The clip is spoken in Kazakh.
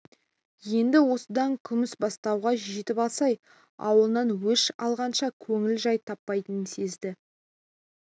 енді осыдан күмісбастауға жетіп алсай ауылынан өш алғанша көңілі жай таппайтынын сезді